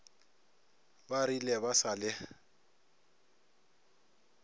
ba rile ba sa le